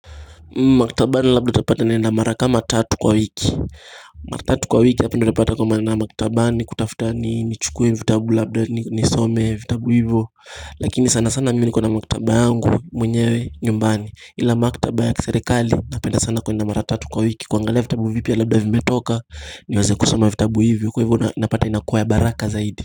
Maktabani labda utapata naenda mara kama tatu kwa wiki mara tatu kwa wiki hapo ndio utapata naenda maktabani kutafuta ni chukwe vitabu labda ni some vitabu hivyo Lakini sana sana mimi niko na maktaba yangu mwenyewe nyumbani ila maktaba ya kiserekali napenda sana kwenda mara tatu kwa wiki kuangalia vitabu vipya labda vimetoka niweze kusoma vitabu hivyo Kwa hivyo napata inakuwa ya baraka zaidi.